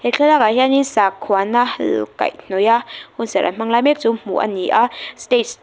he thlalakah hianin sakhuana kaihhnawiha hunserh an hmang lai mek chu hmuh a ni a stage --